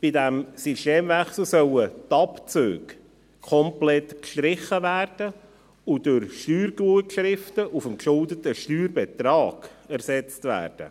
Bei diesem Systemwechsel sollen die Abzüge komplett gestrichen werden und durch Steuergutschriften auf dem geschuldeten Steuerbetrag ersetzt werden.